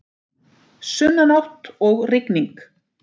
Sunnanátt og rigning